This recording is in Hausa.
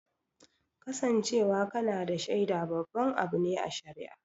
Kasancewa kana da shaida babban abu ne a shari'a